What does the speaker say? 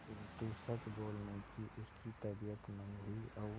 किंतु सच बोलने की उसकी तबीयत नहीं हुई और